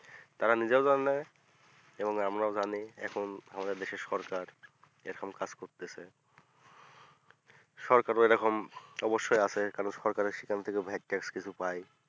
তারও জানে এবং আমরা ও জানি আমাদের দেশের সরকার এখন ration card করতেছে সরকার ও এ রকম অবশ্যই আছে কারন সরকার সেখান থেকে